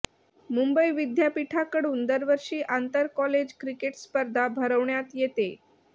मुंबई विद्यापीठाकडून दरवर्षी आंतरकॉलेज क्रिकेट स्पर्धा भरवण्यात येते